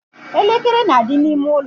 elekere na-adị n'ime ụlọ.